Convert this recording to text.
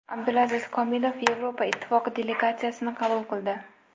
Abdulaziz Komilov Yevropa Ittifoqi delegatsiyasini qabul qildi.